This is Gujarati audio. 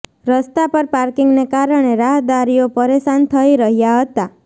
રસ્તા પર પાર્કિંગને કારણે રાહદારીઓ પરેશાન થઈ રહ્યા હતા